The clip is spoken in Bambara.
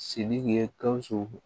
Sidiki ye gawusu